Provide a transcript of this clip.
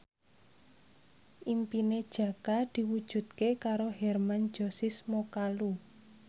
impine Jaka diwujudke karo Hermann Josis Mokalu